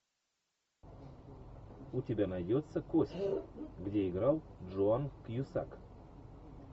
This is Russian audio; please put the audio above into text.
у тебя найдется кости где играл джоан кьюсак